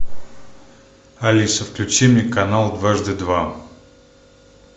алиса включи мне канал дважды два